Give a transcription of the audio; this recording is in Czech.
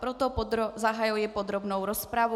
Proto zahajuji podrobnou rozpravu.